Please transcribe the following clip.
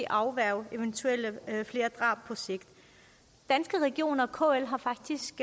afværge flere drab på sigt danske regioner og kl har faktisk